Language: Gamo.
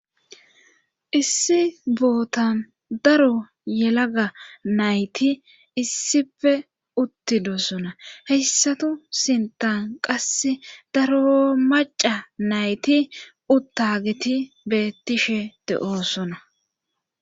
Issi bootan daro yelaga nayti issife uttidosona heyssatu sintan qasse daro maca nayti uttagiti bettishe de'oosona.